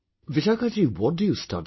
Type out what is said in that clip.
Vishakha ji, what do you study